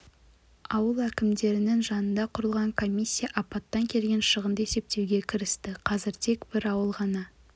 ауыл әкімдіктерінің жанынан құрылған комиссия апаттан келген шығынды есептеуге кірісті қазір тек бір ауыл ғана